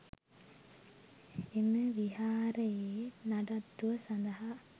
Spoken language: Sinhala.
එම විහාරයේ නඩත්තුව සඳහා